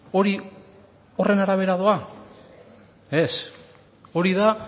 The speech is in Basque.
hori horren arabera doa ez hori da